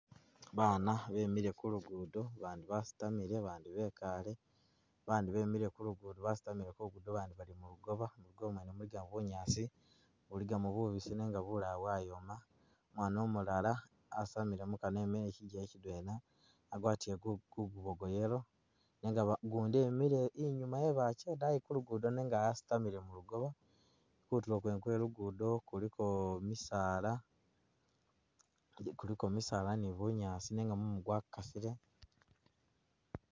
baana bemile kulugudo bandi basitamile bandi bekaale bandi bemile kulugudo basitamile kulugudo bandi bali mulugooba, mulugooba mwene muligamo bunyaasi, buligamo bubisi nenga bilala bwayoma, umwana omulala asamile mukanwa e'mele chigele chidwena, agwatile ku kugubo kwa'yellow nenga ba gundi e'mele i'nyuma yebache daayi kulugudo nenga asitamile mulugooba, kutuulo kwene kwe lugudo kuliko misaala, guliko misaala ne bunyaasi nenga mumu gwakasile.